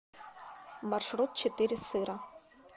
маршрут четыре сыра